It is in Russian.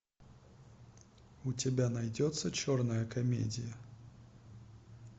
у тебя найдется черная комедия